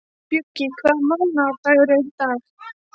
Bjöggi, hvaða mánaðardagur er í dag?